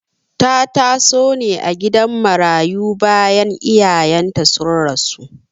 Ta taso ne a gidan marayu bayan iyayenta sun rasu..